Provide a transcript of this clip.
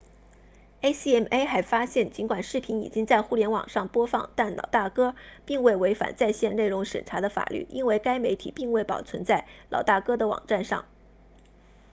acma 还发现尽管视频已经在互联网上播放但老大哥 big brothe 并未违反在线内容审查的法律因为该媒体并未保存在老大哥的网站上